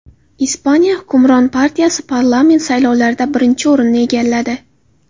Ispaniya hukmron partiyasi parlament saylovlarida birinchi o‘rinni egalladi.